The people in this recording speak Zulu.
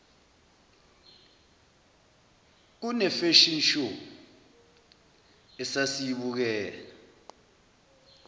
kunefashion show esasiyibukela